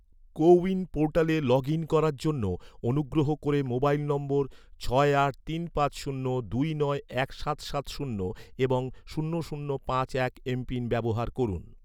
কো win পোর্টালে log in করার জন্য, অনুগ্রহ করে, মোবাইল নম্বর, ছয় আট তিন পাঁচ শূন্য দুই নয় এক সাত সাত শূন্য এবং শূন্য শূন্য পাঁচ এক এমপিন ব্যবহার করুন